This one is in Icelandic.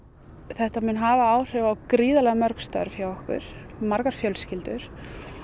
þetta mun hafa áhrif á gríðarlega mörg störf hjá okkur margar fjölskyldur